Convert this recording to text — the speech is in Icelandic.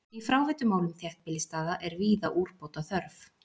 Í fráveitumálum þéttbýlisstaða er víða úrbóta þörf.